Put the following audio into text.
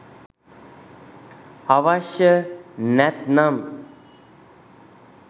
අවශ්‍ය නැත්නම්